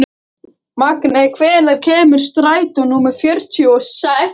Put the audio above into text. Magney, hvenær kemur strætó númer fjörutíu og sex?